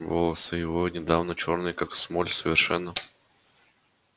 волосы его недавно чёрные как смоль совершенно